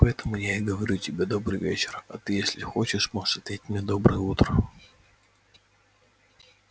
поэтому я и говорю тебе добрый вечер а ты если хочешь можешь ответить мне доброе утро